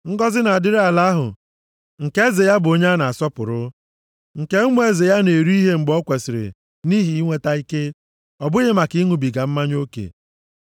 Ngọzị na-adịrị ala ahụ nke eze ya bụ onye a na-asọpụrụ, nke ụmụ eze ya na-eri ihe mgbe o kwesiri nʼihi inweta ike, ọ bụghị maka ịṅụbiga mmanya oke.